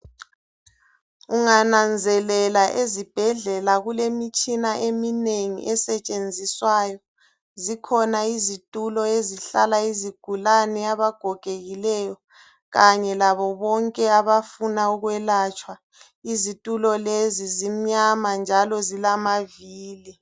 Ungananzelela ezibhedlela kulemitshina eminengi esetshenziswayo. Zikhona izitulo ezihlala izigulane abagogekileyo kanye labobonke abafuna ukwelatshwa. Izitulo lezi zimnyama njalo zilamavili.